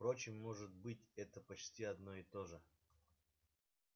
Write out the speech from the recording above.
впрочем может быть это почти одно и то же